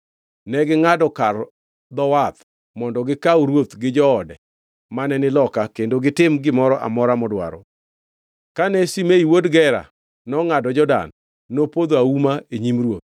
Negingʼado kar dho wath mondo gikaw ruoth gi joode mane ni loka kendo gitim gimoro amora modwaro. Kane Shimei wuod Gera nongʼado Jordan, nopodho auma e nyim ruoth